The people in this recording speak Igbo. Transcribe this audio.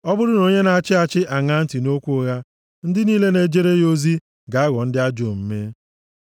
Ọ bụrụ na onye na-achị achị aṅaa ntị nʼokwu ụgha, ndị niile na-ejere ya ozi ga-aghọ ndị ajọ omume.